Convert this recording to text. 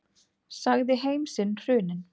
Sagði heim sinn hruninn.